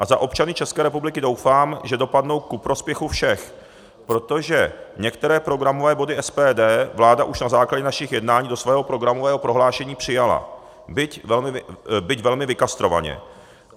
A za občany České republiky doufám, že dopadnou ku prospěchu všech, protože některé programové body SPD vláda už na základě našich jednání do svého programového prohlášení přijala, byť velmi vykastrovaně.